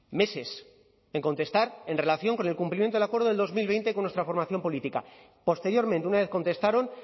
meses en contestar en relación con el cumplimiento del acuerdo del dos mil veinte con nuestra formación política posteriormente una vez contestaron